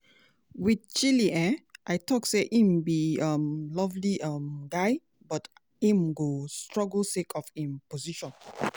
wit chilly um i tok say im be um lovely um guy but im go struggle sake of im position.